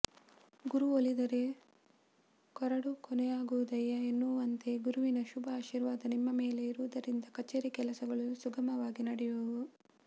ಗುರು ಒಲಿದರೆ ಕೊರಡು ಕೊನರುವುದಯ್ಯಾ ಎನ್ನುವಂತೆ ಗುರುವಿನ ಶುಭ ಆಶೀರ್ವಾದ ನಿಮ್ಮ ಮೇಲೆ ಇರುವುದರಿಂದ ಕಚೇರಿ ಕೆಲಸಗಳು ಸುಗಮವಾಗಿ ನಡೆಯುವವು